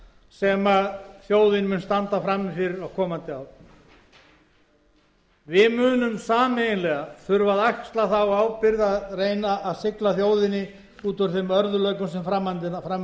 mun standa frammi fyrir á komandi árum við munum sameiginlega þurfa að axla þá ábyrgð að reyna að sigla þjóðinni út úr þeim örðugleikum sem fram undan eru